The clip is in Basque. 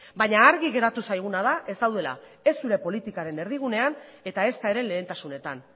baina argi geratu zaiguna da ez daudela ez zure politikaren erdigunean eta ezta ere lehentasunetan